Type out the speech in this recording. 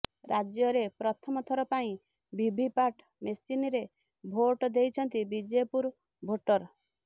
ରାଜ୍ୟରେ ପ୍ରଥମ ଥର ପାଇଁ ଭିଭିପାଟ ମେସିନରେ ଭୋଟ ଦେଇଛନ୍ତି ବିଜେପୁର ଭୋଟର